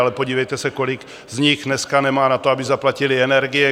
Ale podívejte se, kolik z nich dneska nemá na to, aby zaplatili energie.